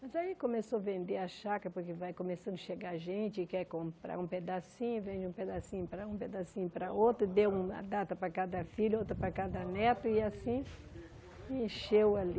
Mas aí começou a vender a chácara, porque vai começando a chegar gente e quer comprar um pedacinho, vende um pedacinho para um, pedacinho para outro, e deu uma data para cada filho, outra para cada neto, e assim, encheu ali.